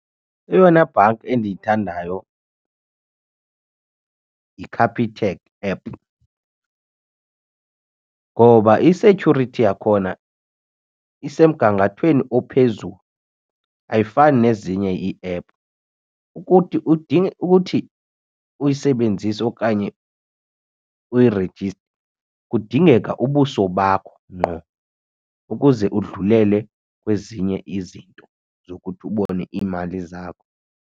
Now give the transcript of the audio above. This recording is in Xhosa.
Eyona bhanki endiyithandayo yiCapitec app ngoba i-security yakhona isemgangathweni ophezulu ayifani nezinye iephu. Ukuthi ukuthi uyisebenzise okanye uyirejiste kudingeka ubuso bakho ngqo ukuze udlulele kwezinye izinto zokuthi ubone iimali zakho.